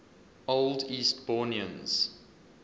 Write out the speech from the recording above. old eastbournians